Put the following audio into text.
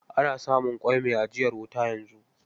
Ana samun ƙwai mai ajiyar wuta yanzu.